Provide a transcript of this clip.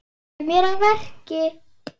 Ég kem mér að verki.